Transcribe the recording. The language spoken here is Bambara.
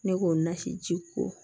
Ne k'o nasi ji ko